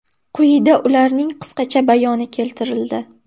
Quyida ularning qisqacha bayoni keltirildi.